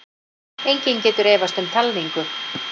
Enginn getur efast um talningu